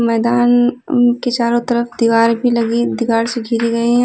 मैदान अं के चारो तरफ दीवार भी लगी दीवार से घीरी गईं हैं।